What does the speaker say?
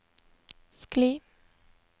skli